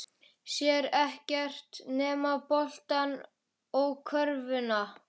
Sér ekkert nema boltann og körfuna.